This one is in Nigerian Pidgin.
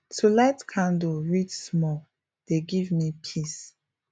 to light candle read small dey give me peace